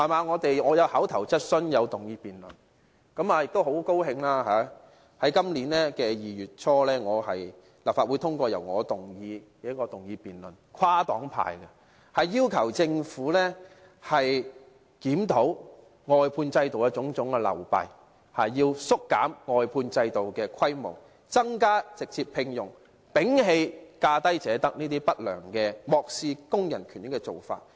我曾提出口頭質詢和議員議案辯論，亦很高興，在今年2月初，立法會跨黨派通過一項由我提出的議案，要求政府檢討外判制度的種種流弊，縮減外判制度的規模，增加直接聘用，摒棄價低者得這種不良而漠視工人權益的做法。